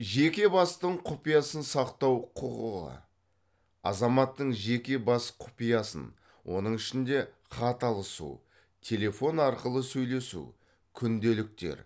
жеке бастың құпиясын сақтау құқығы азаматтың жеке бас құпиясын оның ішінде хат алысу телефон арқылы сөйлесу күнделіктер